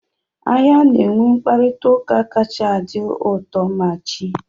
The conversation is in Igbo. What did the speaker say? Ahịa na-enwe mkparịta ụka kacha adị uto, ma chi!